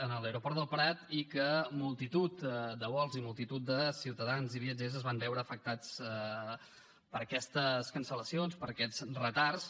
a l’aeroport del prat i que multitud de vols i multitud de ciutadans i viatgers es van veure afectats per aquestes cancel·lacions per aquests retards